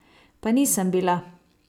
Pa nisem bila!